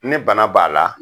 Ni bana b'a la